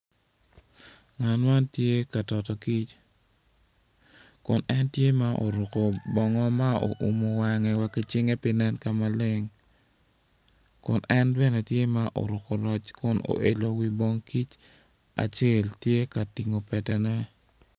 Ngat man tye ka pito kic kun en tye ma oruku bongo ma oumu wange wa ki cinge pe nen ka maleng kun en bene tye ma oruku roc kun oilo wi bong kic acel tye ka tingo petene